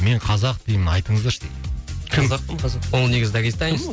мен қазақ деймін айтыңыздаршы дейді қазақпын қазақпын ол негізі дагестанец